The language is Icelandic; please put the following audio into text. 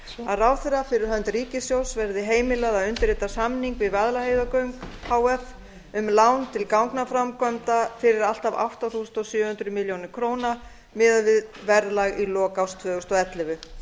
að ráðherra fyrir hönd ríkissjóðs verði heimilað að undirrita samning við vaðlaheiðargöng h f um lán til gangaframkvæmda fyrir allt að átta þúsund sjö hundruð milljóna króna miðað við verðlag í lok árs tvö þúsund og ellefu